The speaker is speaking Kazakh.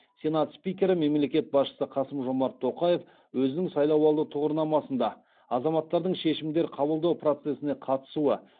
сенат спикері мемлекет басшысы қасым жомарт тоқаев өзінің сайлауалды тұғырнамасында азаматтардың шешімдер қабылдау процесіне қатысуы